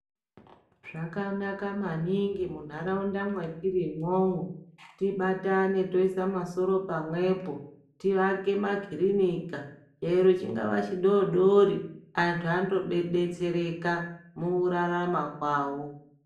Zvakanaka maningi munharaunda mwatiri imwomwo, tibatane toisa masoro pamwepo, tiake makhirinika eero chingava chidodori, anthu andodetsereka, mukurarama kwavo.